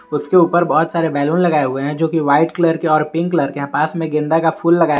उसके ऊपर बहुत सारे बैलून लगाए हुए हैं जो की वाइट कलर के और पिंक कलर के पास में गेंदा का फूल लगाया--